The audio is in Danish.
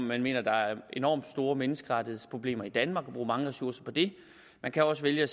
man mener at der er enormt store menneskerettighedsproblemer i danmark og bruge mange ressourcer på det man kan også vælge at